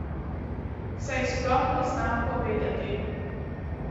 Saj sploh ne znam povedati.